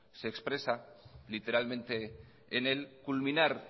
se expresa literalmente en él culminar